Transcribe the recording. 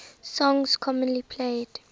songs commonly played